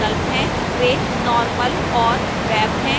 वे normal और web हैं